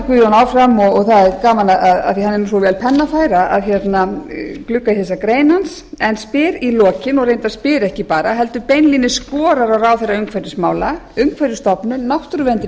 guðjón heldur áfram og það er gaman að glugga í þessa grein hans af því að hann er vel pennafær og spyr í lokin og reyndar spyr ekki heldur beinlínis skorar á ráðherra umhverfismála umhverfisstofnun náttúruvernd